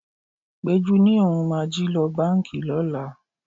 Péjú ni òun máa jí lọ báńkì lọ́la.